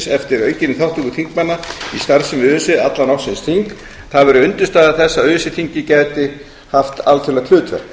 eftir aukinni þátttöku þingmanna í starfsemi öse allan ársins hring það væri undirstaða þess að öse þingið gæti haft alþjóðlegt hlutverk